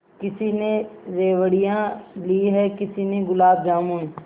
किसी ने रेवड़ियाँ ली हैं किसी ने गुलाब जामुन